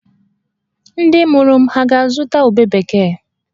Ndị mụrụ m hà ga-azụta ube bekee?